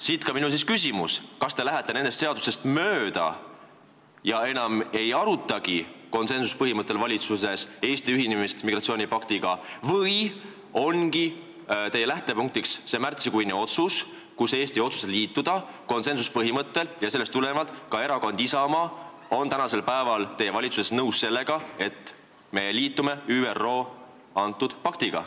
Siit ka minu küsimus: kas te lähete nendest seadustest mööda ja enam ei aruta konsensuspõhimõttel valitsuses Eesti ühinemist migratsioonipaktiga või on teie lähtepunktiks see märtsikuine otsus, mille järgi otsustas Eesti konsensuspõhimõttel leppega liituda, mis omakorda tähendab, et ka Erakond Isamaa on tänasel päeval teie valitsuses nõus sellega, et me selle ÜRO paktiga liitume?